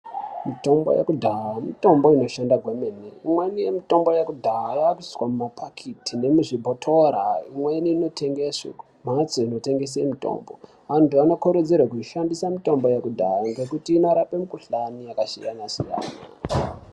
Mitombo yakudhaya mitombo inoshanda kwemene. Imweni mitombo yakudhaya yava kuisiwa mumapaketi nomuzvibhotora. Imweni inotengeswa mumuzi dzinotengeswe mitombo. Vantu vanokurudzirwa kushandisa mitombo yakudhaya nokuti inorapa mikhuhlani yakasiyana siyana.